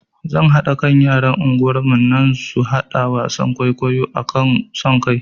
Zan haɗa kan yaran unguwar nan su haɗa wasan kwaikwayo akan son kai